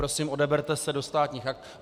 Prosím, odeberte se do Státních aktů.